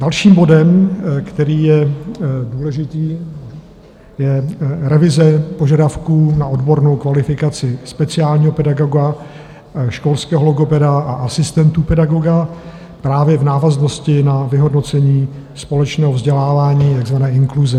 Dalším bodem, který je důležitý, je revize požadavků na odbornou kvalifikaci speciálního pedagoga, školského logopeda a asistentů pedagoga právě v návaznosti na vyhodnocení společného vzdělávání, takzvané inkluze.